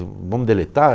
Vamos deletar?